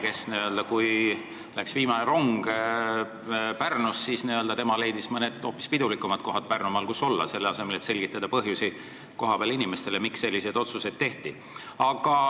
Kui Pärnust läks viimane rong, siis tema leidis Pärnumaal mõned hoopis pidulikumad kohad, kus olla, selle asemel et selgitada kohapeal inimestele põhjusi, miks selline otsus tehti.